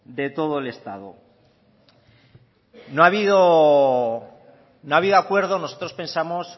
de todo el estado no ha habido acuerdo nosotros pensamos